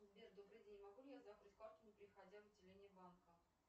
сбер добрый день могу ли я закрыть карту не приходя в отделение банка